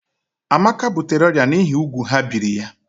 Amaka butere ọrịa n'ihi úgwù ha biri ya.